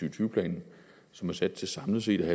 og tyve planen som er sat til samlet set at